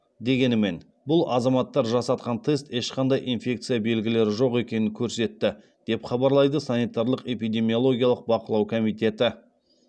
дегенімен бұл азаматтар жасатқан тест ешқандай инфекция белгілері жоқ екенін көрсетті деп хабарлайды санитарлық эпидемиологиялық бақылау комитеті